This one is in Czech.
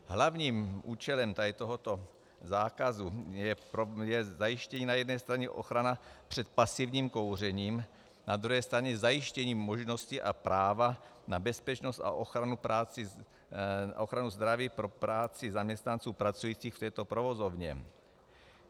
Hlavním účelem tohoto zákazu je zajištění na jedné straně ochrany před pasivním kouřením, na druhé straně zajištění možnosti a práva na bezpečnost a ochranu zdraví pro práci zaměstnanců pracujících v této provozovně.